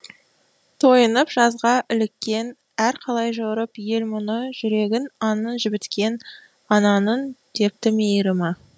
тойынып жазға іліккен әр қалай жорып ел мұны жүрегін аңның жібіткен ананың депті мейірімі